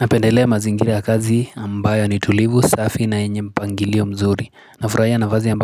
Napendelea mazingira ya kazi ambayo nitulivu safi na yenye mpangilio mzuri Nafurahia nafasi